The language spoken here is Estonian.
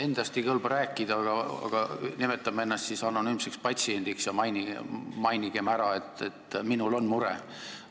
Endast ei kõlba rääkida, aga nimetan ennast siis anonüümseks patsiendiks ja mainin ära, et minul on mure.